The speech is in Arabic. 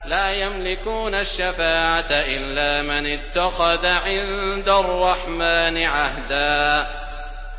لَّا يَمْلِكُونَ الشَّفَاعَةَ إِلَّا مَنِ اتَّخَذَ عِندَ الرَّحْمَٰنِ عَهْدًا